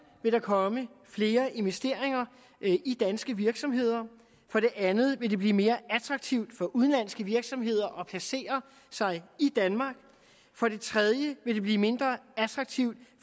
vil der komme flere investeringer i danske virksomheder for det andet vil det blive mere attraktivt for udenlandske virksomheder at placere sig i danmark for det tredje vil det blive mindre attraktivt